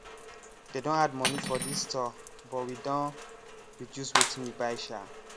they don add money for this store but we don reduce wetin we buy sha